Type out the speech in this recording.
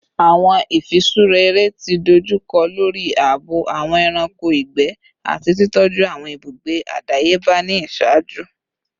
Awọn ifiṣura ere ti dojukọ lori aabo awọn ẹranko igbẹ ati titọju awọn ibugbe adayeba ni iṣaaju